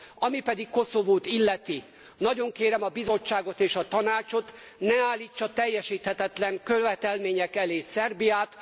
Ami pedig Koszovót illeti, nagyon kérem a Bizottságot és a Tanácsot, ne állítsa teljesíthetetlen követelmények elé Szerbiát.